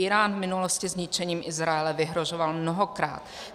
Írán v minulosti zničením Izraele vyhrožoval mnohokrát.